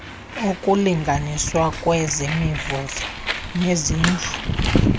okulinganiswa kwemivuzo nezintlu